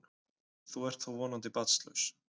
Þú ert þó vonandi barnlaus?